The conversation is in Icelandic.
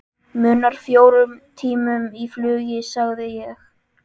Munar fjórum tímum í flugi sagði ég.